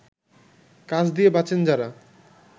কাজ দিয়ে বাঁচেন যাঁরা